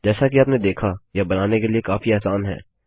जैसा कि आपने देखा यह बनाने के लिए काफी आसान है